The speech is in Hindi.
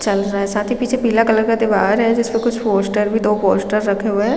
चल रहा है साथ ही पीछे पीला कलर का दिवार है जिस पे कुछ पोस्टर भी दो पोस्टर रखे हुए है।